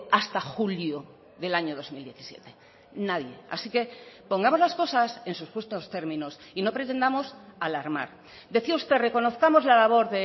hasta julio del año dos mil diecisiete nadie así que pongamos las cosas en sus justos términos y no pretendamos alarmar decía usted reconozcamos la labor